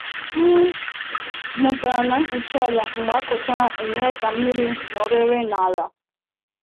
M mụtara na mkpuchi ala mgbe a kụchara enyere ka mmiri nọrịrị n’ala.